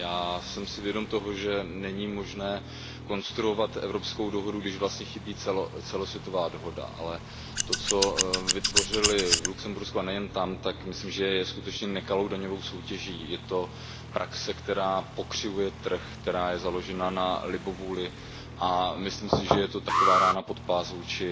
Já jsem si vědom toho, že není možné konstruovat evropskou dohodu, když vlastně chybí celosvětová dohoda, ale to, co vytvořili v Lucembursku a nejen tam, tak si myslím, že je skutečně nekalou daňovou soutěží. Je to praxe, která pokřivuje trh, která je založena na libovůli, a myslím si, že je to taková rána pod pás vůči